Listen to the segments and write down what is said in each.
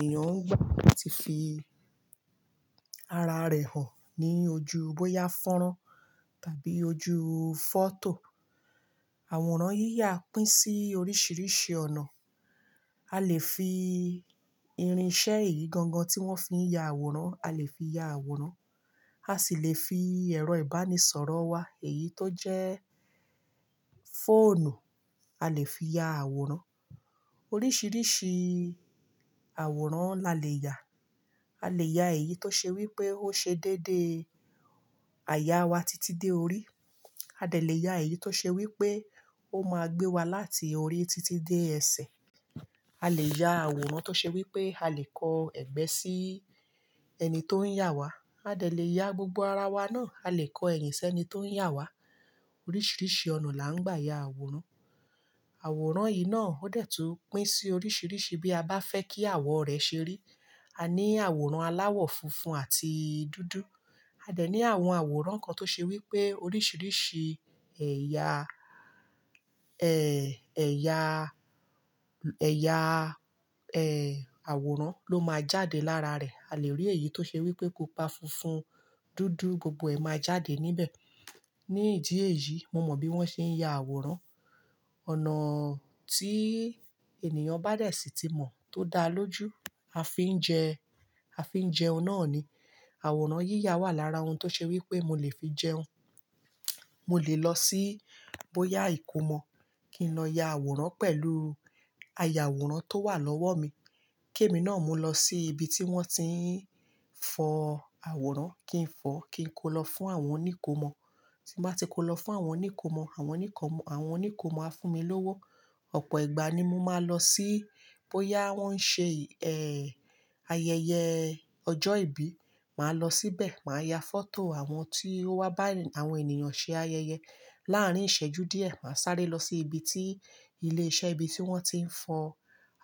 Ẹ̀yàn ń yà tí fi ara rẹ̀ hàn ní ojú bóyá fọ́nrán tàbí ojú fọ́tò. Àwòrán yíyà pín sí oríṣìríṣì ọ̀nà. A lè fi irinṣẹ́ èyí gangan tí wọ́n fi ń ya àwòrán, a lè fi ya àwòrán. A sì lè fi ẹ̀rọ ìbánisọ̀rọ̀ wa, èyí tó jẹ́ fóònù, a lè fi ya àwòrán. Oríṣìíríṣìí àwòrán la lè yà. A lè ya èyí tó ṣe wí pé ó ṣe déédéé àyà wa títí dé orí. A dẹ lè ya èyí tó ṣe wí pé ó máa gbé wa láti orí títí dé ẹsẹ̀. A lè ya àwòrán tó ṣe wí pé a lè kọ ẹ̀gbẹ́ sí ẹni tó ń yà wa. A dẹ lè ya gbogbo ara wa náà, a lè kọ ẹ̀yìn sẹ́ni tó ń yà wa. Oríṣìríṣì ọ̀nà la ń gbà ya àwòrán. Àwòrán yìí náà ó dẹ̀ tú pín sí oríṣìríṣí bí a bá fẹ́ kí àwọ̀ rẹ̀ ṣe rí. A ní àwòrán aláwọ̀ funfun àti dúdú. A dẹ̀ ní àwọn àwòrán kan tó ṣe wí pé oríṣìíríṣìí ẹ̀ya, ẹ̀, ẹ̀ya, ẹ̀ya, ẹ, àwòrán ló máa jáde lára rẹ̀. A lè rí èyí tó ṣe wí pé kópa funfun, dúdú, gbogbo ẹ̀ máa jáde níbẹ̀. Ní ìdí èyí, mo mọ̀ bí wọ́n ṣe ń ya àwòrán. Ọ̀nà tí ènìyàn bá dẹ̀ sì tí mọ̀ tó dá lójú, a fi ń jẹ, a fi ń jẹun náà ni. Àwòrán yíyà wà lára ohun tó ṣe wí pé mo lè fi jẹun. Mo lè lọ sí bóyá ìkómọ kí n lọ ya àwòrán pẹ̀lú àyà àwòrán tó wà lọ́wọ́ mi. Kí èmi náà múu lọ sí ibi tí wọ́n ti ń fọ àwòrán, kí n fọ, kí n kó lọ fún àwọn oníkòmọ. Tí n bá ti kó lọ fún àwọn oníkòmọ, àwọn oníkòmọ á fún mi lówó. Ọ̀pọ̀ ìgbà ni mo máa ń lọ sí bóyá wọ́n ń ṣe, ẹ, ayẹyẹ ọjọ́ ìbí, màá lọ síbẹ̀, màá ya fọ́tò àwọn tí ó wá bá àwọn ènìyàn ṣe ayẹyẹ. Láàárín ìṣẹ́jú díẹ̀, màá sáré lọ sí ibi tí ilé iṣẹ́ ibi tí wọ́n ti ń fọ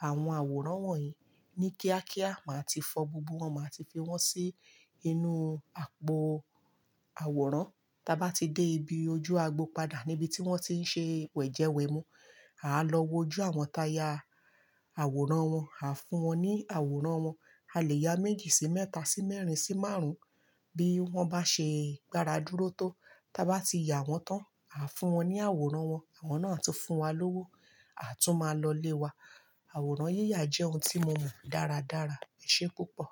àwọn àwòrán wọ̀nyí ní kíákíá, màá ti fọ gbogbo wọn, màá ti fi wọ́n sí inú àpò àwòrán. Ta bá ti dé ibi ojú agbo padà níbi tí wọ́n ti ń ṣe wẹ̀jẹwẹ̀mu, àá lọ wo ojú àwọn táyà àwòrán wọn, àá fún wọn ní àwòrán wọn. A lè ya méjì sí mẹ́ta sí mẹ́rin sí márùn-ún bí wọ́n bá ṣe gbáradúró tó. Tí a bá ti ya wọ́n tán, àá fún wọn ní àwòrán wọn, àwọn náà tún fún wa lówó, àtún máa lọlé wa. Àwòrán yíyà jẹ́ ohun tí mo mọ dáradára. Eṣé púpọ̀?